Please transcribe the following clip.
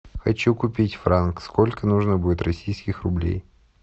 хочу купить франк сколько нужно будет российских рублей